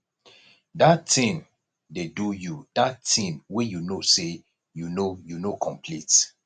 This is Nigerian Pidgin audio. dat thing dey do you dat thing wey be say you no you no complete